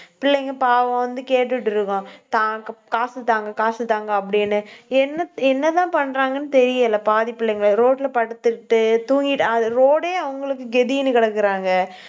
பிள்ளைங்க பாவம் வந்து கேட்டுட்டு இருக்கும். தாங்~ காசு தாங்க, காசு தாங்க அப்படின்னு. என்ன என்னதான் பண்றாங்கன்னு தெரியல, பாதி பிள்ளைங்களுக்கு ரோட்ல படுத்துட்டு தூங்கிட்டு அது road ஏ அவங்களுக்கு கதின்னு கிடக்குறாங்க.